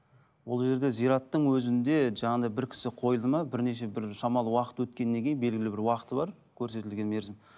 ол жерде зираттың өзінде жаңағыдай бір кісі қойылды ма бірнеше бір шамалы уақыт өткеннен кейін белгілі бір уақыты бар көрсетілген мерзім